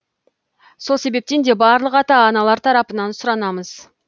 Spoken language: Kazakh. сол себептен де барлық ата аналар тарапынан сұранамыз